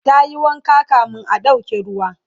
tayi wanka kamin a ɗauke ruwa